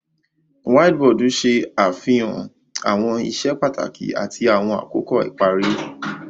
Whiteboard ṣe afihan awọn iṣẹ pataki ati awọn akoko ipari.